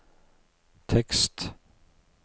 tekst